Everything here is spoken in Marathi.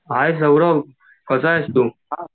हाय सौरभ कसा आहेस तू?